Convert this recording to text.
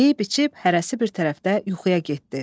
Yeyib-içib hərəsi bir tərəfdə yuxuya getdi.